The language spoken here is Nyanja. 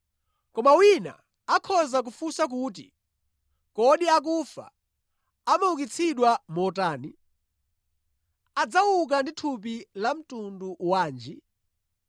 Koma wina akhoza kufunsa kuti, “Kodi akufa amaukitsidwa motani? Adzauka ndi thupi la mtundu wanji?”